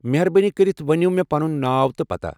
مہربٲنی کٔرِتھ ؤنو مےٚ پنُن ناو تہٕ پتاہ۔